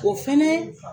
O fɛnɛ